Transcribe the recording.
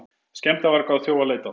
Skemmdarvarga og þjófa leitað